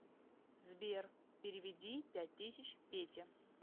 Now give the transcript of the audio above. сбер переведи пять тысяч пете